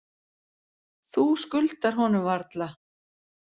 Þú skuldar honum varla.